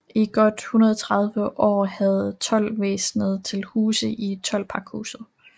I godt 130 år havde toldvæsenet til huse i toldpakhuset